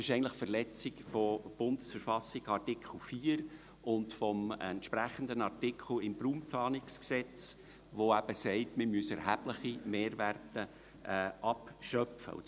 Dies ist eigentlich eine Verletzung von Artikel 8 und 9 der Bundesverfassung der Schweizerischen Eidgenossenschaft (BV) und des entsprechenden Artikels im RPG, welcher besagt, dass wir erhebliche Mehrwerte abschöpfen müssen.